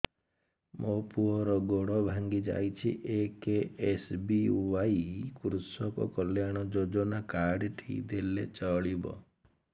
ମୋ ପୁଅର ଗୋଡ଼ ଭାଙ୍ଗି ଯାଇଛି ଏ କେ.ଏସ୍.ବି.ୱାଇ କୃଷକ କଲ୍ୟାଣ ଯୋଜନା କାର୍ଡ ଟି ଦେଲେ ଚଳିବ